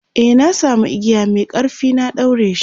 e na samu igiya Mai ƙarfi na daureshi